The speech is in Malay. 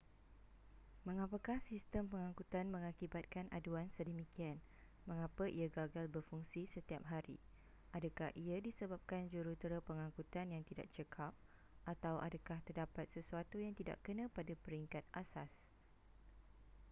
mengapakah sistem pengangkutan mengakibatkan aduan sedemikian mengapa ia gagal berfungsi setiap hari adakah ia disebabkan jurutera pengangkutan yang tidak cekap atau adakah terdapat sesuatu yang tidak kena pada peringkat asas